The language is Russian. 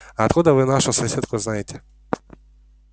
а откуда вы нашу соседку знаете